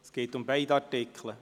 Es geht um beide Artikel.